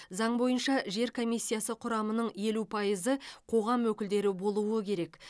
заң бойынша жер комиссиясы құрамының елу пайызы қоғам өкілдері болуы керек